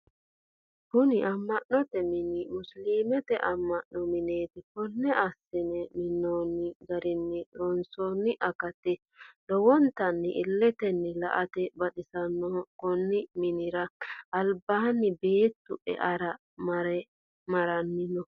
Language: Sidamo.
Kunni ama'note minni musiliimete ama'no mineeti konne asine minoonni garinna loonsoonni akati lowontanni illetenni la'ate baxisanoho. Konni minnira albaanni beettu e'eara maranni no.